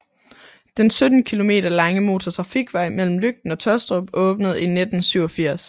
Den 17 kilometer lange motortrafikvej mellem Løgten og Tåstrup åbnede i 1987